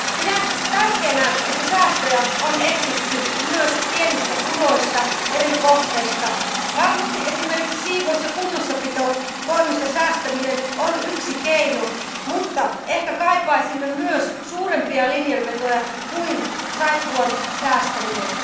Pidän tärkeänä sitä, että säästöjä on etsitty myös pienistä puroista, eri kohteista. Varmasti esimerkiksi siivous ja kunnossapitotoimista säästäminen on yksi keino, mutta ehkä kaipaisimme myös suurempia linjanvetoja kuin saippuan säästäminen.